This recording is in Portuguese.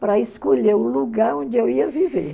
para escolher o lugar onde eu ia viver.